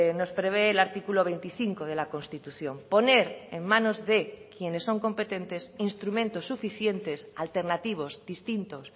nos prevé el artículo veinticinco de la constitución poner en manos de quienes son competentes instrumentos suficientes alternativos distintos